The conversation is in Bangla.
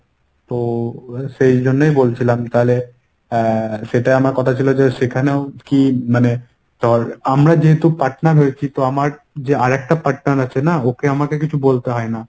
তো সেই জন্যেই বলছিলাম যে তাহলে এর সেটা আমার কথা ছির যে সেখানেও কী মানে ধর আমরা যেহেতু partner হয়েছি তো আমার যে আরেকটা partner আছে না ওকে আমাকে কিছু বলতে হয় না।